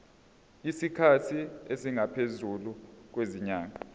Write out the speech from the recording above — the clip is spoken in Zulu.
isikhathi esingaphezulu kwezinyanga